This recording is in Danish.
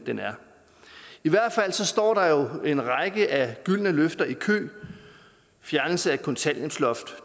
den er i hvert fald står der jo en række af gyldne løfter i kø fjernelse af kontanthjælpsloft